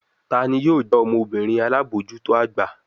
Tani yoo jẹ ọmọbirin alabojuto agba?